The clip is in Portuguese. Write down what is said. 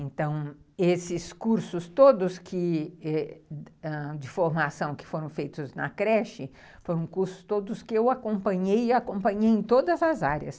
Então, esses cursos todos de formação que foram feitos na creche, foram cursos todos que eu acompanhei e acompanhei em todas as áreas.